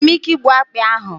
Enwere m ike igbu akpị ahụ?